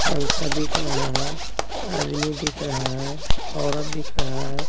पंखा दिख रहा हैं आदमी दिख रहा हैं औरत दिख रहा हैं।